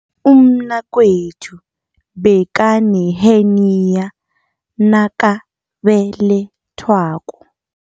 Umnakwethu bekaneheniya nakabelethwako.